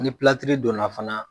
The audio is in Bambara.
Ni donna fana.